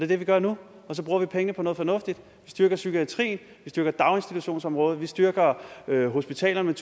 det vi gør nu og så bruger vi pengene på noget fornuftigt vi styrker psykiatrien vi styrker daginstitutionsområdet vi styrker hospitalerne